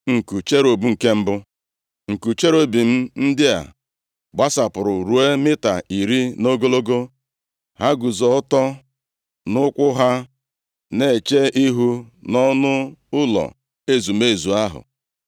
Nku cherubim ndị a gbasapụrụ ruo mita iri nʼogologo. Ha guzo ọtọ nʼụkwụ ha, na-eche ihu nʼọnụ ụlọ ezumezu ahụ.